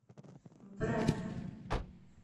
брагина